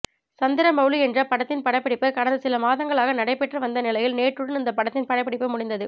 சந்திரமெளலி என்ற படத்தின் படப்பிடிப்பு கடந்த சில மாதங்களாக நடைபெற்று வந்த நிலையில் நேற்றுடன் இந்த படத்தின் படப்பிடிப்பு முடிந்தது